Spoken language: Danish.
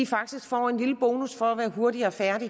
faktisk får en lille bonus for at være hurtigere færdig